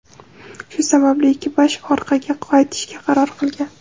Shu sababli ekipaj orqaga qaytishga qaror qilgan.